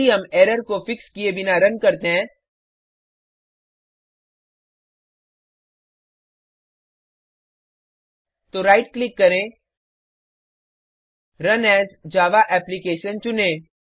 यदि हम एरर को फिक्स किये बिना रन करते हैं तो राइट क्लिक करें रुन एएस जावा एप्लिकेशन चुनें